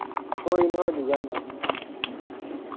ਕੋਈ ਨੀ ਹੋਜੂਗਾ ਗਾ ਇੰਨਾਂ ਕ।